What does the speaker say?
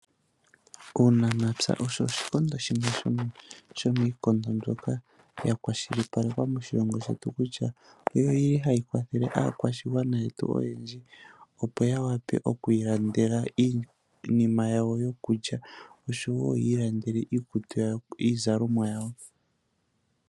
Uunamapya osho oshikondo shimwe shomiikondo mbyoka yili ya kwashilipalekwa moshilongo shetu. Owu li hawu kwathele aakwashigwana yetu oyendji, opo yawape okwiilandela iinima yawo yokulya, noshowo yiilandele iizalomwa yawo.